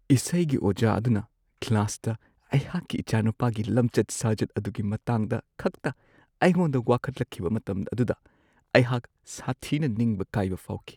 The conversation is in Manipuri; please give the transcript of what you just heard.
ꯏꯁꯩꯒꯤ ꯑꯣꯖꯥ ꯑꯗꯨꯅ ꯀ꯭ꯂꯥꯁꯇ ꯑꯩꯍꯥꯛꯀꯤ ꯏꯆꯥꯅꯨꯄꯥꯒꯤ ꯂꯝꯆꯠ-ꯁꯥꯖꯠ ꯑꯗꯨꯒꯤ ꯃꯇꯥꯡꯗ ꯈꯛꯇ ꯑꯩꯉꯣꯟꯗ ꯋꯥꯀꯠꯂꯛꯈꯤꯕ ꯃꯇꯝ ꯑꯗꯨꯗ ꯑꯩꯍꯥꯛ ꯁꯥꯊꯤꯅ ꯅꯤꯡꯕ ꯀꯥꯏꯕ ꯐꯥꯎꯈꯤ ꯫